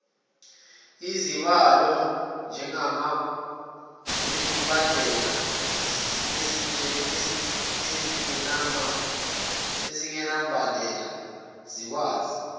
izabelo ezingenambandela zikwazi